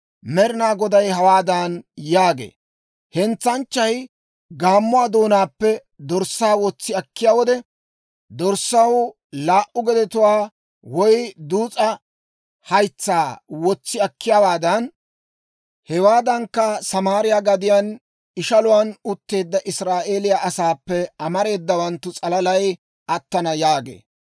Med'inaa Goday hawaadan yaagee; «Hentsanchchay gaammuwaa doonaappe dorssaa wotsi akkiyaa wode, dorssaw laa"u gedetuwaa woy duus'a haytsaa wotsi akkiyaawaadan, hewaadankka Samaariyaa gadiyaan ishaluwaan utteedda Israa'eeliyaa asaappe amareedawanttu s'alalay attana» yaagee.